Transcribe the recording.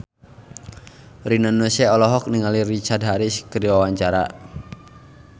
Rina Nose olohok ningali Richard Harris keur diwawancara